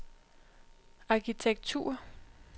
arkitektur